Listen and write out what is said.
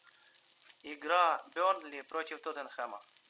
игра бернли против тоттенхэма